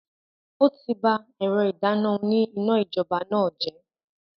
O ti bá ẹ̀rọ ìdáná òní iná-ijọba náà jẹ.